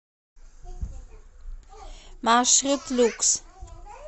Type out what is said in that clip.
маршрут люкс